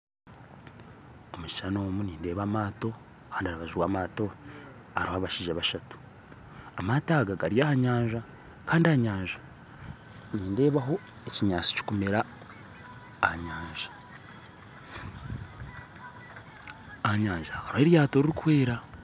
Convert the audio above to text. Omu kishuushani omu nindeeba amaato kandi aharubaju rw'amaato hariho abashaija bashatu amaato aga gari aha nyanja kandi aha nyanja nindeebaho ekinyaatsi kikumeera aha nyanja, aha nyanja hariho eryato rikwera